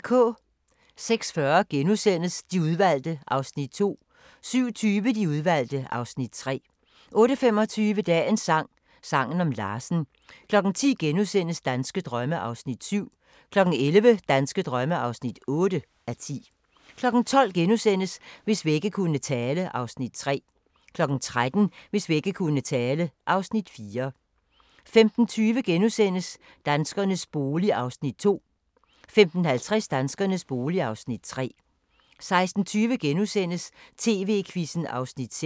06:40: De Udvalgte (Afs. 2)* 07:20: De Udvalgte (Afs. 3) 08:25: Dagens sang: Sangen om Larsen 10:00: Danske drømme (7:10)* 11:00: Danske drømme (8:10) 12:00: Hvis vægge kunne tale (Afs. 3)* 13:00: Hvis vægge kunne tale (Afs. 4) 15:20: Danskernes bolig (Afs. 2)* 15:50: Danskernes bolig (Afs. 3) 16:20: TV-Quizzen (6:8)*